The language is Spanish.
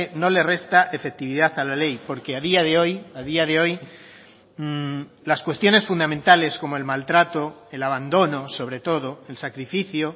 no le resta efectividad a la ley porque a día de hoy a día de hoy las cuestiones fundamentales como el maltrato el abandono sobre todo el sacrificio